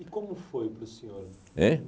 E como foi para o senhor? Hein?